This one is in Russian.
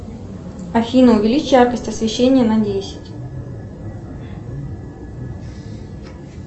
афина увеличь яркость освещения на десять